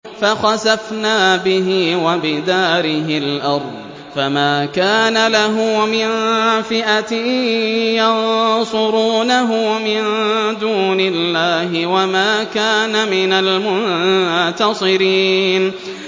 فَخَسَفْنَا بِهِ وَبِدَارِهِ الْأَرْضَ فَمَا كَانَ لَهُ مِن فِئَةٍ يَنصُرُونَهُ مِن دُونِ اللَّهِ وَمَا كَانَ مِنَ الْمُنتَصِرِينَ